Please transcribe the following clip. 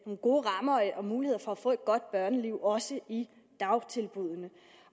nogle gode rammer og muligheder for at få et godt børneliv også i dagtilbuddene